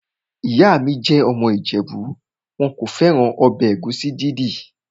Ìyá mi jẹ́ ọmọ ìjẹ̀bú. Wọn kò fẹ́ràn ọbẹ̀ ẹ̀gúsí dídì.